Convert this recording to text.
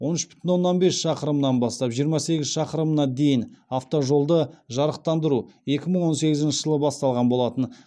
он үш бүтін оннан бес шақырымынан бастап жиырма сегіз шақырымына дейін автожолды жарықтандыру екі мың он сегізінші жылы басталған болатын